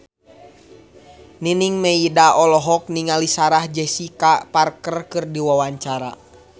Nining Meida olohok ningali Sarah Jessica Parker keur diwawancara